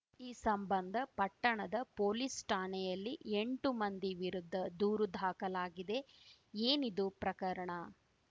ಈ ಸಂಬಂಧ ಪಟ್ಟಣದ ಪೊಲೀಸ್‌ ಠಾಣೆಯಲ್ಲಿ ಎಂಟು ಮಂದಿ ವಿರುದ್ಧ ದೂರು ದಾಖಲಾಗಿದೆ ಏನಿದು ಪ್ರಕರಣ